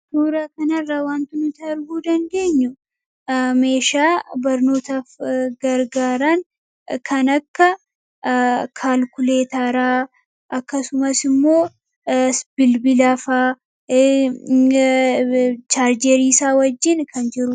suuraa kana irraa waanti nuti arguu dadeenyuu meeshaa barnootaaf gargaaran kan akka kaalkuleetaraa akkasumas immoo bilbilaafaa chaarjeeriisaa wajjiin kan jiru.